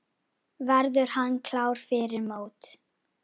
Verður hann klár fyrir mót?